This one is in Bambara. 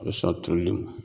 A bɛ sɔ a turuli ma